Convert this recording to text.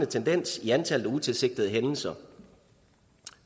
tendens i antallet af utilsigtede hændelser